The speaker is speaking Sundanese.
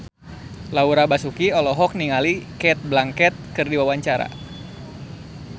Laura Basuki olohok ningali Cate Blanchett keur diwawancara